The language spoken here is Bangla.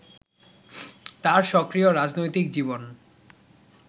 তাঁর সক্রিয় রাজনৈতিক জীবন